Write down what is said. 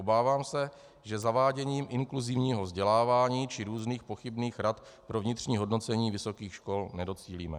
Obávám se, že zaváděním inkluzivního vzdělávání či různých pochybných rad pro vnitřní hodnocení vysokých škol nedocílíme.